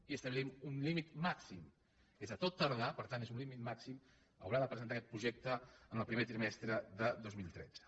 i establint un límit màxim que és que a tot tar·dar per tant és un límit màxim haurà de presentar aquest projecte en el primer trimestre de dos mil tretze